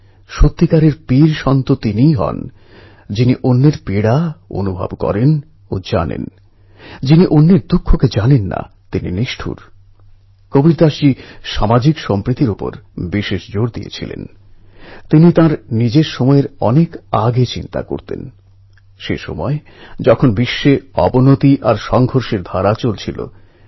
ঘটনাটা ছিল এইরকম একবার আমেরিকার টেকনোলজি হাব সান জোস শহরে আমি ভারতীয় তরুণদের সঙ্গে আলোচনার সময় আমি তাঁদের কাছে আবেদন রেখেছিলাম তাঁরা যেন ভারতের জন্য নিজেদের ট্যালেন্টকে কীভাবে ব্যবহার করা যায় সেটা ভাবেন এবং সময় বের করে কিছু করেন